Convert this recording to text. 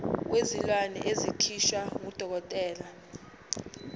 wezilwane esikhishwa ngudokotela